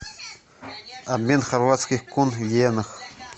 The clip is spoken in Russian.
обмен хорватских кун в йенах